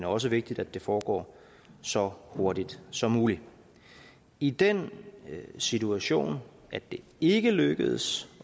også vigtigt at det foregår så hurtigt som muligt i den situation at det ikke lykkes